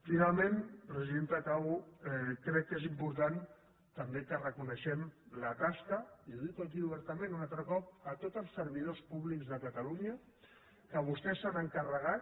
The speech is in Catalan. finalment presidenta acabo crec que és important també que reconeguem la tasca i ho dic aquí obertament un altre cop de tots els servidors públics de catalunya que vostès s’han encarregat